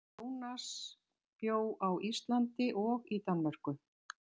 Jónas bjó bæði á Íslandi og í Danmörku.